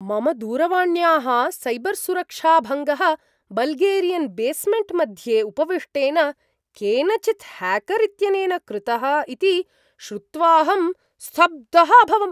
मम दूरवाण्याः सैबर्सुरक्षाभङ्गः बल्गेरियन्बेस्मेण्ट् मध्ये उपविष्टेन केनचित् ह्याकर् इत्यनेन कृतः इति श्रुत्वाहं स्तब्धः अभवम्।